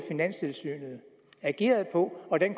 går